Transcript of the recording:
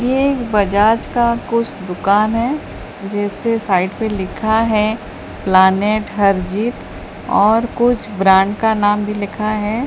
ये एक बजाज का कुछ दुकान है जैसे साइड पे लिखा है प्लानेट हरजीत और कुछ ब्रांड का नाम भी लिखा है।